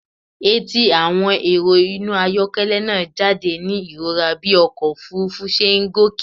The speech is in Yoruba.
Etí àwọn èrò inú ọkọ̀ ayọ́kẹ́lẹ́ náà jáde ní ìrora bí ọkọ̀ òfuurufú ṣe ń gòkè.